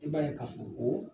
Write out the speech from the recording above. I b'a ye ka sokoo